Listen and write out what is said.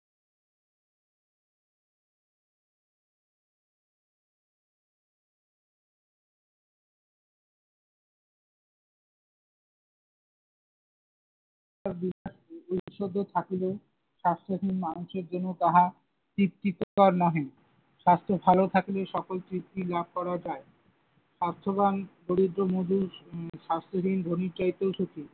ঐশ্বর্য থাকিলেও স্বাস্থ্যহীন মানুষের জন্য তাহা তৃপ্তিকর নহে। স্বাস্থ্য ভালো থাকলে সকল তৃপ্তি লাভ করা যায়। স্বাস্থ্যবান দরিদ্র মুদি স্বাস্থ্যহীন ধনীর চাইতেও সুখী।